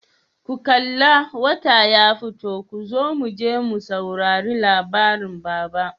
ku kalla! wata ya fito kozo muje mu saurari labarin baba.